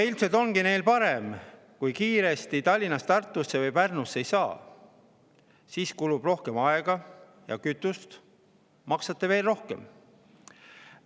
Ilmselt ongi neil parem, kui kiiresti Tallinnast Tartusse või Pärnusse ei saa, sest siis kulub rohkem aega ja kütust ning maksate veel rohkem.